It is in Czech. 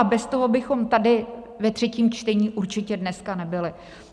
A bez toho bychom tady ve třetím čtení určitě dneska nebyli.